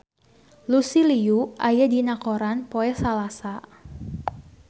Lucy Liu aya dina koran poe Salasa